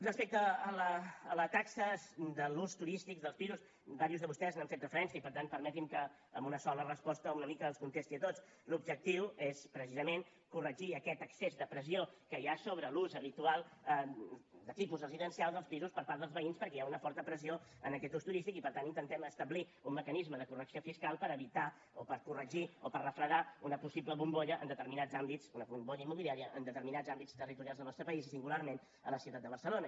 respecte a les taxes de l’ús turístic dels pisos diversos de vostès hi han fet referència i per tant permetin me que amb una sola resposta una mica els contesti a tots l’objectiu és precisament corregir aquest excés de pressió que hi ha sobre l’ús habitual de tipus residencial dels pisos per part dels veïns perquè hi ha una forta pressió en aquest ús turístic i per tant intentem establir un mecanisme de correcció fiscal per evitar o per corregir o per refredar una possible bombolla immobiliària en determinats àmbits territorials del nostre país i singularment a la ciutat de barcelona